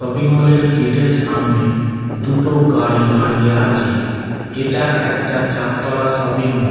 শপিংমলের gate এর সামনে দুটো গাড়ি দাঁড়িয়ে আছে এটা একটা চারতলা শপিংমল।